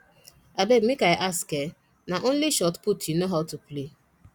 abeg make i ask eh na only shotput you know how to play